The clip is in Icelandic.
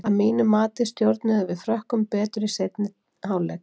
Að mínu mati stjórnuðum við Frökkum betur í seinni hálfleik.